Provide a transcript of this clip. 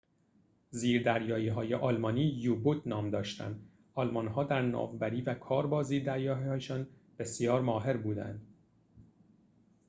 زیردریایی‌های آلمانی یو-بوت نام داشتند آلمان‌ها در ناوبری و کار با زیردریایی‌هایشان بسیار ماهر بودند